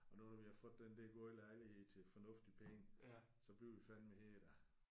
Og nu hvor vi har fundet den der gode lejlighed til fornuftige penge så bliver vi fandeme her da